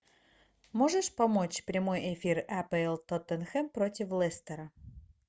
можешь помочь прямой эфир апл тоттенхэм против лестера